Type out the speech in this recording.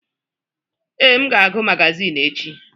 Ee, m ga-agụ magazin echi.